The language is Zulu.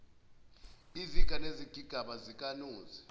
iziga nezigigaba zikanozi